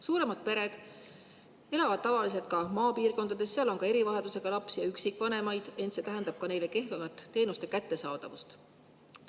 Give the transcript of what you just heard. Suuremad pered elavad tavaliselt ka maapiirkondades, seal on ka erivajadusega lapsi ja üksikvanemaid, ent see tähendab neile kehvemat teenuste kättesaadavust.